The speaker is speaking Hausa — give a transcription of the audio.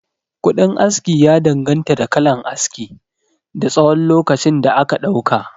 Kuɗin aski ya danganta da kalan aski, da tsawon lokacin da aka ɗauka